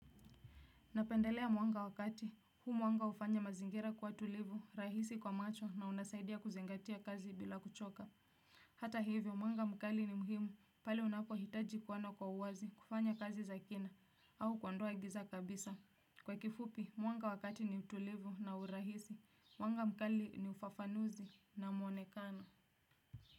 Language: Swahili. Napendelea mwanga wa kati, huu mwanga hufanya mazingira kuwa tulivu, rahisi kwa macho na unasaidia kuzingatia kazi bila kuchoka. Hata hivyo mwanga mkali ni muhimu, pale unapohitaji kuona kwa uwazi, kufanya kazi za kina, au kuondoa giza kabisa. Kwa kifupi, mwanga wa kati ni tulivu na urahisi, mwanga mkali ni ufafanuzi na mwonekano.